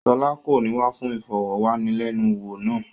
Ṣọlá kò ní wá fún ìfọ̀wánilẹ́nuwò náà.